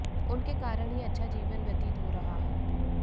उनके कारण ही अच्छा जीवन व्यतीत हो रहा है